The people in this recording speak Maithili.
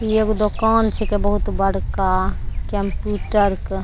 आ इ एगो दुकान छीके बहुत बड़का कंप्यूटर क --